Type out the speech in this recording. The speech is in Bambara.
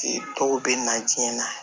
Dɔw bɛ na diɲɛ na